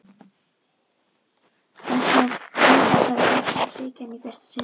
Frændi hans hafði gleymt honum, svikið hann í fyrsta sinn.